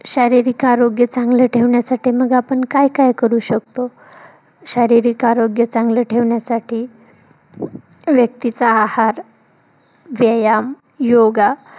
शारीरिक आरोग्य चांगलं ठेवण्यासाठी मग आपण काय काय करू शकतो? शारीरिक आरोग्य चांगलं ठेवण्यासाठी व्यक्तीचा आहार, व्यायाम, योगा